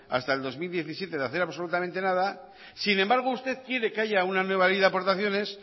hasta el dos mil diecisiete de hacer absolutamente nada sin embargo usted quiere que haya una nueva ley de aportaciones